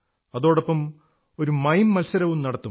അതോടൊപ്പം ഒരു മീം മത്സരവും നടത്തും